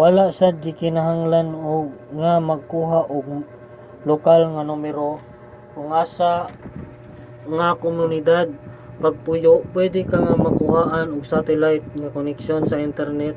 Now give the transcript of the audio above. wala sad gikinahanglan nga magkuha ka og lokal nga numero sa kung asa ka nga komunidad nagpuyo; pwede ka nga magkuha og satellite nga koneksyon sa internet